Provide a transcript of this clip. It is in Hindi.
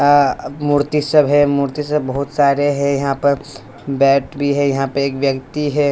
अ मूर्ति सब है मूर्ति सब बहुत सारे हैं यहां पर बैट भी है यहां पे एक व्यक्ति है।